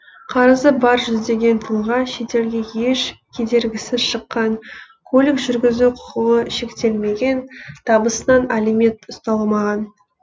қарызы бар жүздеген тұлға шетелге еш кедергісіз шыққан көлік жүргізу құқығы шектелмеген табысынан алимент ұсталмаған